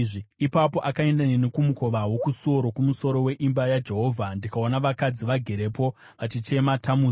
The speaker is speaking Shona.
Ipapo akaenda neni kumukova wokusuo rokumusoro weimba yaJehovha, ndikaona vakadzi vagerepo, vachichema Tamuzi.